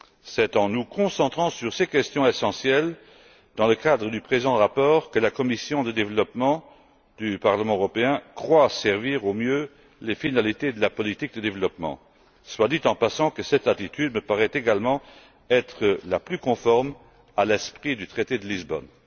C'est en nous concentrant sur ces questions essentielles dans le cadre du présent rapport que la commission du développement du Parlement européen croit servir au mieux les finalités de la politique de développement. Soit dit en passant, cette attitude me paraît également être la plus conforme à l'esprit du traité de Lisbonne.